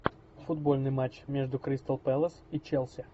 футбольный матч между кристал пэлас и челси